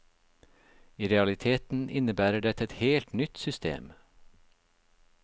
I realiteten innebærer dette et helt nytt system.